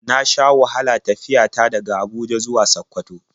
Na sha wahala tafiya ta daga Abuja zuwa Sakkwato.